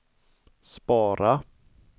spara